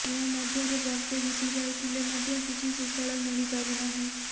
ଏହା ମଧ୍ୟରେ ବର୍ଷେ ବିତିଯାଇଥିଲେ ମଧ୍ୟ କିଛି ସୁଫଳ ମିଳି ପାରିନାହିଁ